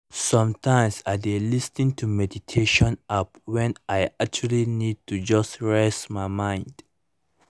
sometimes i dey lis ten to meditation app when i actually need to just reset my mind